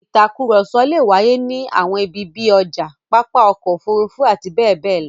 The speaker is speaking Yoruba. Ìtakùrọ̀sọ le wáyé ní àwọn ibi bí i ọjà, pápá ọkọ̀-òfurufú àti bẹ́ẹ̀ bẹ́ẹ̀ lọ.